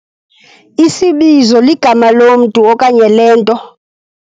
Isibizo ligama lomntu okanye lento.